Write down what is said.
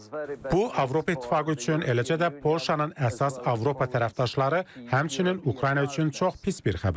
Bu Avropa İttifaqı üçün, eləcə də Polşanın əsas Avropa tərəfdaşları, həmçinin Ukrayna üçün çox pis bir xəbərdir.